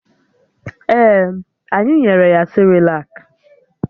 Ee, anyị nyere ya sịrịlak